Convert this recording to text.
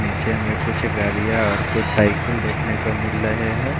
नीचे में कुछ गड़िया और कुछ साइकिल देखने को मिल लहे है।